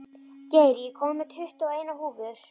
Geir, ég kom með tuttugu og eina húfur!